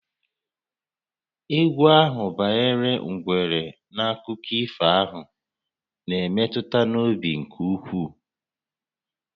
Égwú ahụ banyere ngwere n'akụkọ ifo a na-emetụ n'obi nke ukwuu